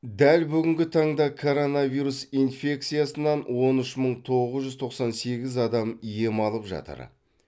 дәл бүгінгі таңда коронавирус инфекциясынан он үш мың тоғыз жүз тоқсан сегіз дам ем алып жатыр